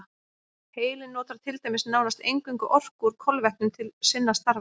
Heilinn notar til dæmis nánast eingöngu orku úr kolvetnum til sinna stafa.